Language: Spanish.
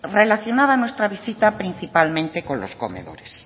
relacionada nuestra visita principalmente con los comedores